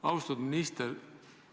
Austatud minister!